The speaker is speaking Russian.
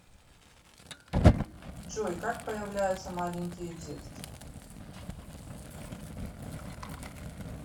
джой как появляются маленькие детки